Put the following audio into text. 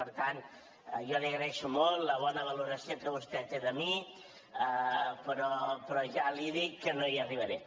per tant jo li agraeixo molt la bona valoració que vostè té de mi però ja li dic que no hi arribaré